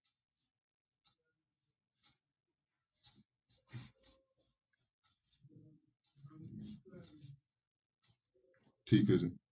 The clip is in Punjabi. ਠੀਕ ਹੈ ਜੀ।